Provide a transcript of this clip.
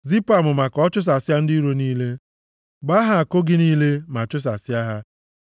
Zipụ amụma ka o chụsasịa ndị iro niile; gbaa ha àkụ gị niile ma chụsasịa ha.